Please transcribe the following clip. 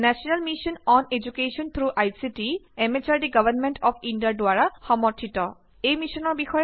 অধিক জানিবলৈ হলে অনুগ্ৰহ কৰি আমালৈ লিখক contact spoken tutorialorg spoken tutorial project হল এখন শিক্ষকৰ প্ৰজেক্টৰ সৈতে কথা বতৰা পতাৰ এক অংশ